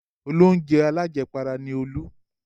Olóunjẹ alájẹpara ni Olú.